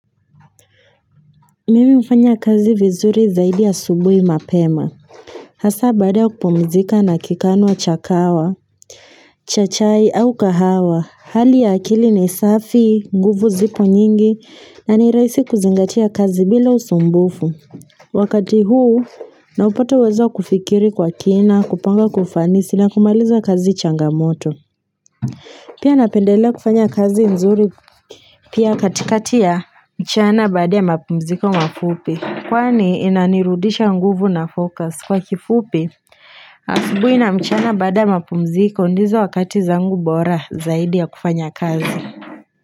Mimi hufanya kazi vizuri zaidi asubui mapema. Hasaa baada ya kupumzika na kikanwa cha kahawa, cha chai au kahawa. Hali ya akili ni safi, nguvu ziko nyingi, na nirahisi kuzingatia kazi bila usumbufu. Wakati huu, naupatau uwezo wa kufikiri kwa kina, kupanga kufanisi na kumaliza kazi changamoto. Pia napendelea kufanya kazi nzuri, pia katikati ya mchana baada ya mapumziko mafupi. Kwani inanirudisha nguvu na fokas kwa kifupi asubuhi na mchana baada ya mapumziko ndizo wakati zangu bora zaidi ya kufanya kazi.